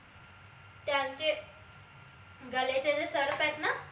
त्यांचे गले चे जे सर्प आहेत न